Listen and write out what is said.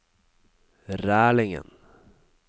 Rælingen